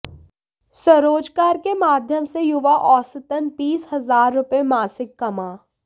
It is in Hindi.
स्वरोजगार के माध्यम से युवा औसतन बीस हजार रुपए मासिक कमा